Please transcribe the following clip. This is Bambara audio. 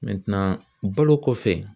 balo kɔfɛ